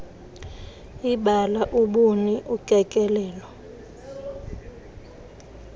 ibala ubuni ukekelelo